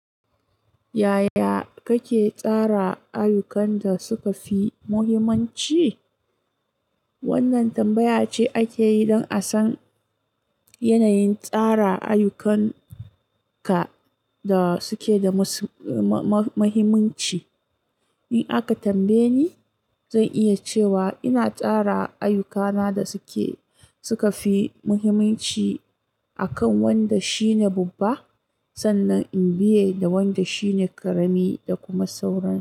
Yaya kake tsara ayyukan da suka fi muhimmanci? Wannan tambaya ce ake yi don a san yanayin tsara ayyukanka da suke da mu-ma-mahiminci. In aka tambaye ni, zan iya cewa ina tsara ayyukana da suke, suka fi muhimmanci a kan wanda shine babba, sannan in biye da wanda shine ƙarami da kuma sauran.